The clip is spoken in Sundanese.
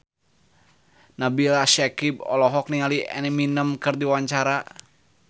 Nabila Syakieb olohok ningali Eminem keur diwawancara